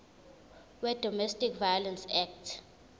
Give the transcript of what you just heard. wedomestic violence act